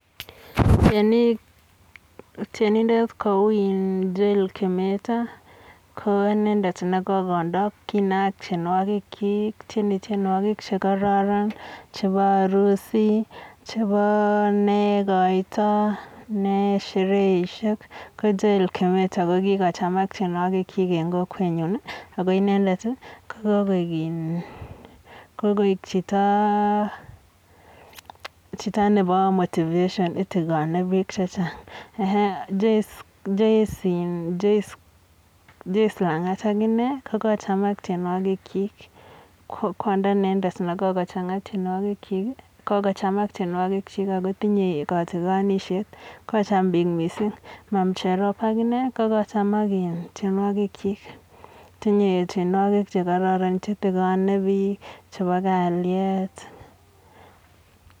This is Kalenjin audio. Tyenindet kou um Joel Kimeto, ko inendet ne kokondo kinaat tyenwokikchik ityeni tyenwokik che kororon chebo harusi, chebo ne koito, ne shereishek, ko Joel Kimeto ko kikochamak tyenwokichik eng kokwenyun ako inendet ko koek en, kokoek chito nebo motivation itikone biik che chang. Um Joice Lang'at akine ko chomot tyenwokikik kwondo inendet ne kokochamat tyenwokikchik ako tinyei katikonishet, kocham biik mising. Mum Jerop akine ko kakochak in tyenwokikchik tinye tyenwokik che kororon che tikonei biik, chebo kalyet.